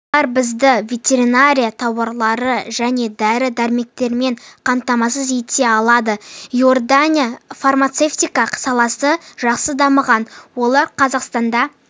олар бізді ветеринария тауарлары және дәрі-дермектермен қамтамасыз ете алады иорданияда фармацевтика саласы жақсы дамыған олар қазақстанда